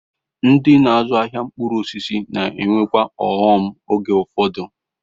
Ndị na-azụ ahịa mkpụrụ osisi na-enwekwa ọghọm oge ụfọdụ.